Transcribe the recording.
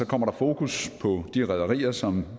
kommer der fokus på de rederier som